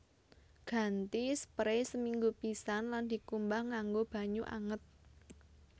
Ganti sprei seminggu pisan lan dikumbah nganggo banyu anget